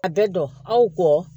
A bɛ dɔn aw kɔ